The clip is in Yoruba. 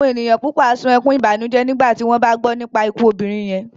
Àwọn ènìyàn púpọ̀ á sun ẹkún ìbànújẹ́ nígbà tí wọ́n bá gbọ́ nípa ikú obìnrin yẹn